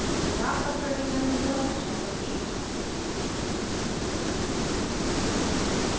4 शराब पर प्रतिबन्ध या nasha bandi